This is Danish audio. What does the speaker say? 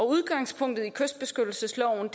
udgangspunktet i kystbeskyttelsesloven